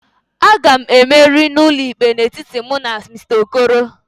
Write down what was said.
A ga m emeri n'ụlọikpe a n'etiti mụ na Mr. okoro